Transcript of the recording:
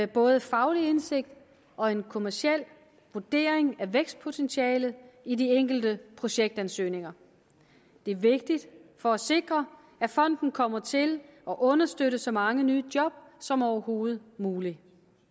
både faglig indsigt og en kommerciel vurdering af vækstpotentialet i de enkelte projektansøgninger det er vigtigt for at sikre at fonden kommer til at understøtte så mange nye job som overhovedet muligt